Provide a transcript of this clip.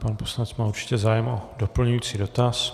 Pan poslanec má určitě zájem o doplňující dotaz.